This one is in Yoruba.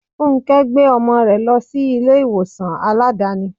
Fúnké gbé ọmọ rẹ lọ sí ilé ìwòsàn Aládàáni.